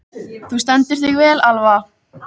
Þú stendur þig vel, Alva!